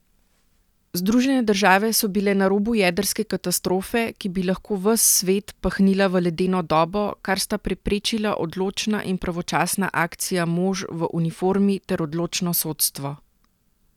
Združene države so bile na robu jedrske katastrofe, ki bi lahko ves svet pahnila v ledeno dobo, kar sta preprečila odločna in pravočasna akcija mož v uniformi ter odločno sodstvo.